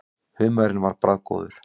Humarinn var bragðgóður.